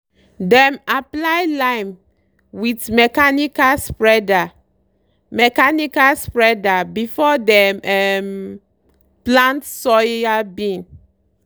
dem apply lime with mechanical spreader mechanical spreader before dem um plant soybean.